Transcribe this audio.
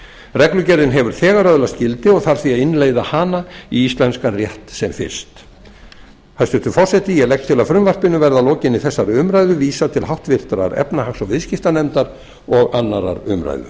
reglugerðin hefur þegar öðlast gildi og þarf því að innleiða hana í íslenskan rétt sem fyrst hæstvirtur forseti ég legg til að frumvarpinu verði að lokinni þessari umræðu vísað til háttvirtrar efnahags og viðskiptanefndar og annarrar umræðu